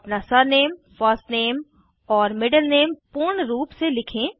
अपना surname first name और middle name पूर्ण रूप से लिखें